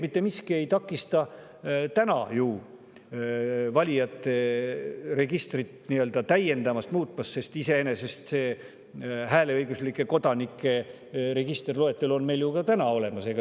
Mitte miski tegelikult ei takista valijate registrit täiendavalt muutmast, sest see hääleõiguslike kodanike register, loetelu on meil iseenesest olemas.